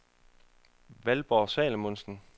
Valborg Salomonsen